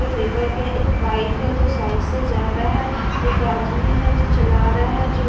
फेंका गया एक बाइक है जो साइड से जा रहा है एक आदमी है जो चला रहा है जो --